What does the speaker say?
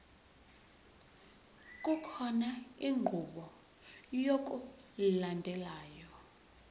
kukhona inqubo yokulandelayo